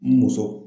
N muso